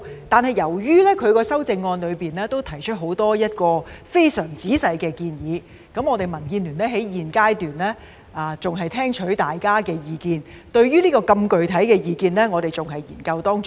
但是，由於她的修正案提出很多非常仔細的建議，民建聯現階段還在聽取大家的意見；對於如此具體的意見，我們還在研究當中。